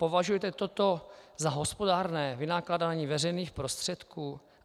Považujete toto za hospodárné vynakládání veřejných prostředků?